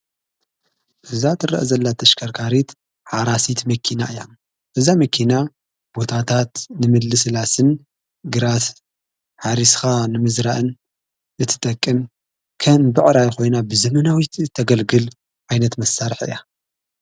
እዛ ትርአ ዘላ ተኣሽከርካሪት ሓራሲት መኪና እያ። እዛ መኪና ቦታታት ንምልስላስን ግራት ሓሪስኻ ንምዝራእን እትጠቅን ከም ብዕራይ ኾይና ብዘመናዊት ተገልግል ኣይነት መሳርሕ እያ።